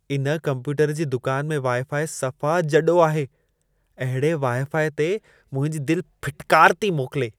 इन कंप्यूटर जी दुकान में वाई-फाई सफ़ा जॾो आहे। अहिड़े वाई-फाई ते मुंहिंजी दिल फिटकार थी मोकिले।